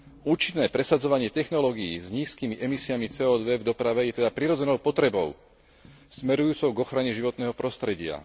Účinné presadzovanie technológií s nízkymi emisiami CO 2 v doprave je teda prirodzenou potrebou smerujúcou k ochrane životného prostredia.